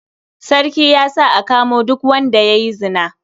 Sarki ya sa a kamo duk wanda ya yi zina.